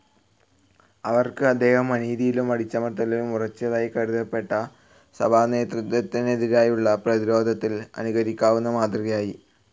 അവർക്ക് അദ്ദേഹം, അനീതിയിലും അടിച്ചമർത്തലിലും ഉറച്ചതായി കരുതപ്പെട്ട സഭാനേതൃത്വത്തിനെതിരായുള്ള പ്രതിരോധത്തിൽ അനുകരിക്കാവുന്ന മാതൃകയായി.